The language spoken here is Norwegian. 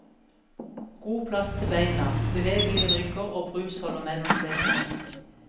God plass til beina, bevegelige rygger og brusholder mellom setene.